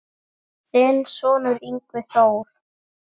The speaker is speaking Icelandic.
Þinn sonur, Yngvi Þór.